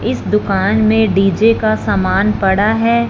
इस दुकान में डीजे का सामान पड़ा है।